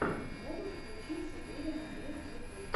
можешь включить сибириан бирд ютуб